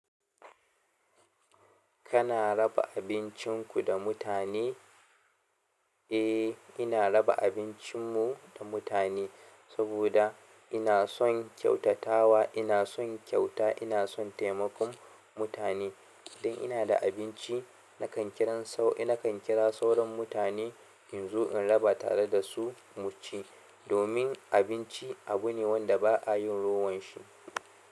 Kana raba abincinku da mutane? A. Ina raba abincin mu da mutane sabo da ina son ƙyautatawa, ina son ƙyauta ina son taimakon mutane idan ina da abinci, na kan kiran sau, na kan kira sauran mutane in zo in raba tare da su mu ci. Domin abinci abu ne wanda ba a yin rowan shi.